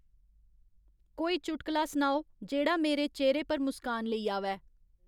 कोई चुटकला सनाओ जेह्ड़ा मेरे चेह्रे पर मुस्कान लेई आवै